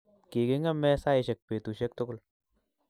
Kigingeme saishek betushiek tugul